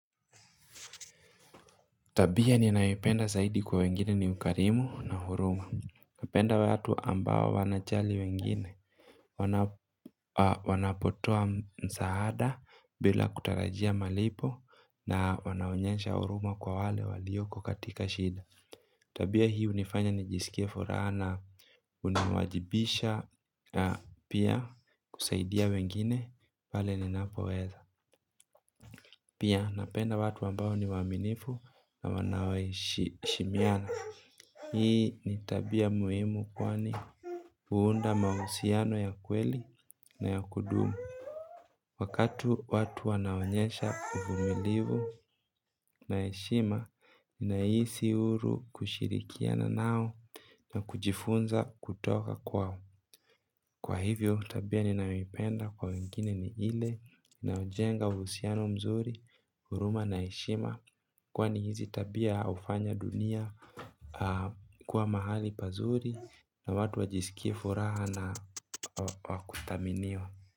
Tabia ni nayoipenda zaidi kwa wengine ni ukarimu na huruma. Napenda watu ambao wanajali wengine. Wanapotoa msaada bila kutarajia malipo na wanaonyesha huruma kwa wale waliyoko katika shida. Tabia hii hunifanya ni jisikie furaha na uniwajibisha na pia kusaidia wengine pale ninapoweza. Pia napenda watu ambao ni waaminifu na wanaohishimiana. Hii ni tabia muhimu kwani huunda mahusiano ya kweli na ya kudumu. Wakatu watu wanaonyesha uvumilivu na heshima, ninahisi huru kushirikia nao na kujifunza kutoka kwao. Kwa hivyo, tabia ninayoipenda kwa wengine ni ile inayojenga uhusiano mzuri, huruma na heshima. Kwani hizi tabia hufanya dunia kuwa mahali pazuri na watu wajisikie furaha na wakuthaminiwa.